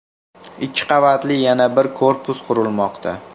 Ikki qavatli yana bir korpus qurilmoqda.